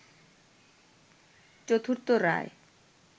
চতুর্থ রায়